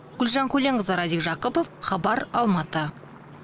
гүлжан көленқызы радик жақыпов хабар алматы